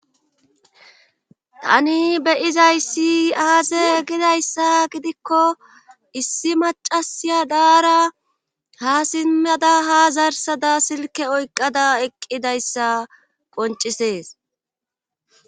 tani beyizay si aaze gidayssa gidikko issi macasiya daara ha simmada ha zarsada silke oyqqada eqqidayssa qoncisees